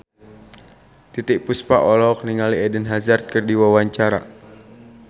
Titiek Puspa olohok ningali Eden Hazard keur diwawancara